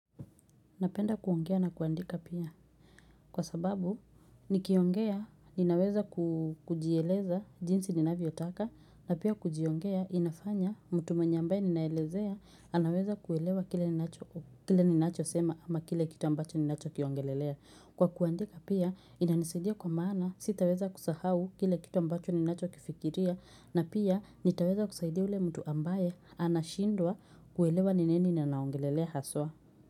Napenda kuongea na kuandika pia kwa sababu nikiongea ninaweza kujieleza jinsi ninavyotaka na pia kujiongea inafanya mtu mwenye ambaye ninaelezea anaweza kuelewa kile ninachosema ama kile kitu ambacho ninachokiongelelea. Kwa kuandika pia inanisaidia kwa maana sitaweza kusahau kile kitu ambacho ninachokifikiria na pia nitaweza kusaidia yule mtu ambaye anashindwa kuelewa ni nini ninaongelelea haswa.